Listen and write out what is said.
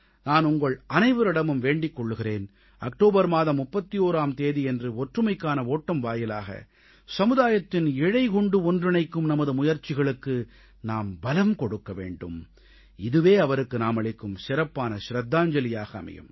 நான் உங்கள் அனைவரிடமும் வேண்டிக் கொள்கிறேன் அக்டோபர் மாதம் 31ஆம் தேதியன்று ஒற்றுமைக்கான ஓட்டம் வாயிலாக சமுதாயத்தின் ஒவ்வொரு பிரிவினருக்கும் தேசத்தின் ஒவ்வொரு அலகிற்கும் ஒற்றுமையின் இழை கொண்டு ஒன்றிணைக்கும் நமது முயற்சிகளுக்கு நாம் பலம் கொடுக்க வேண்டும் இதுவே அவருக்கு நாமளிக்கும் சிறப்பான ஷ்ரதாஞ்சலியாக அமையும்